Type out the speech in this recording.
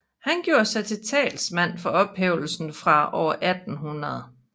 Han gjorde sig til talsmand for ophævelse fra år 1800